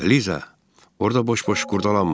Liza, orada boş-boş qurdalanma.